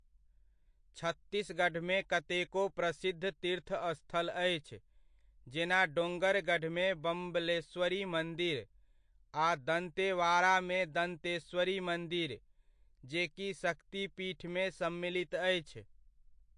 छत्तीसगढ़मे कतेको प्रसिद्ध तीर्थस्थल अछि, जेना डोंगरगढ़मे बम्बलेश्वरी मन्दिर आ दन्तेवाड़ामे दन्तेश्वरी मन्दिर, जे कि शक्तिपीठमे सम्मिलित अछि।